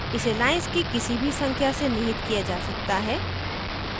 इसे lines की किसी भी संख्या से निहित किया जा सकता है